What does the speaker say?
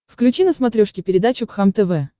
включи на смотрешке передачу кхлм тв